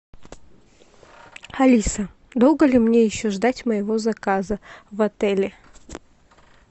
алиса долго ли мне еще ждать моего заказа в отеле